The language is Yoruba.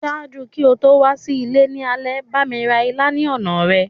Ṣaaju ki o to wa si ile lálẹ́, bámi ra ilá ni ọna rẹ.